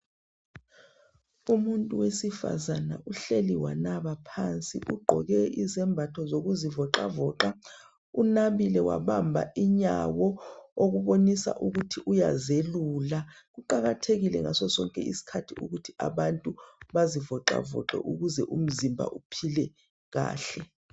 Umuntu wesifazana uhleli wanaba phansi. Ugqoke ezembatho zokuzivoxavoxa. Unabile wabamba inyawo okubonisa ukuthi uyazelula. Kuqakathekile ngasosonke isikhathi ukuthi abantu bazivoxavoxe ukuze umzimba uphile kahle.